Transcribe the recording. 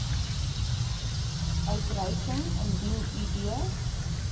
uitreiking indien id